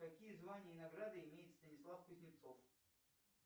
какие звания и награды имеет станислав кузнецов